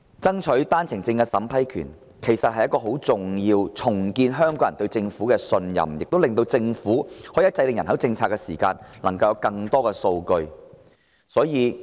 爭取單程證的審批權既能令香港人重拾對政府的信任，亦讓政府掌握更多數據制訂人口政策，是十分重要的。